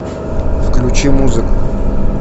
включи музыку